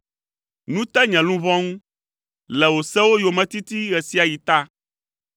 Nu te nye luʋɔ ŋu, le wò sewo yometiti ɣe sia ɣi ta.